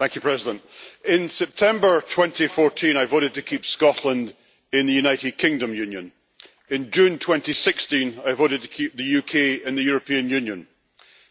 Madam President, in September 2014 I voted to keep Scotland in the United Kingdom union and in June 2016 I voted to keep the UK in the European Union.